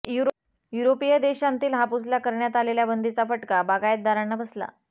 युरोपीय देशांतील हापूसला करण्यात आलेली बंदीचा फटका बागायतदारांना बसला